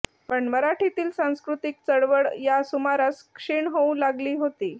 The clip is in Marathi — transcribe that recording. पण मराठीतील सांस्कृतिक चळवळ या सुमारास क्षीण होऊ लागली होती